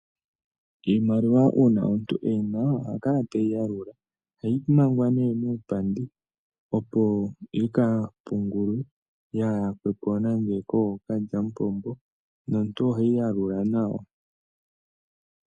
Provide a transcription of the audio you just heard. Iimaliwa una omuntu eyina oha kala teyi yalula, ohayi manga ne muupandi opo yika pungulwe ya yakwepo nande kokalyapombo nomuntu oheyi yalula nawa.